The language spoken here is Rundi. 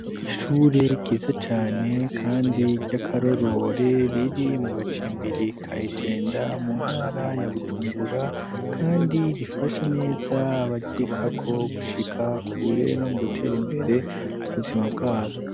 Ishure ryiza cane kandi ry'akaroruhore, riri mu gacimbirika i Jenda mu ntara ya Bujumbura, kandi rifasha neza abaryigako gushika kure no mu gutera imbere mu buzima bwabo.